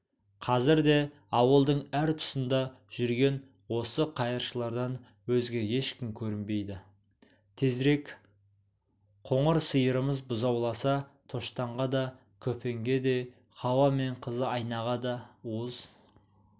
қазір де ауылдың әр тұсында жүрген осы қайыршылардан өзге ешкім көрінбейді тезірек қоңыр сиырымыз бұзауласа тоштанға да көпенге де хауа мен қызы айнаға да уыз